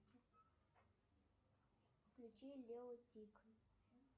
включи лео и тиг